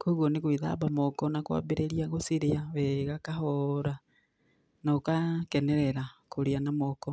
Koguo nĩ gwĩthamba moko na kwambĩrĩria gũciria wega kahora, na ũgakenerera kũrĩa na moko.